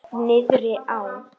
Niðri á